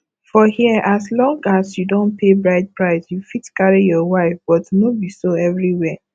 for here as long as you don pay bride price you fit carry your wife but no be so everywhere